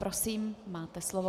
Prosím, máte slovo.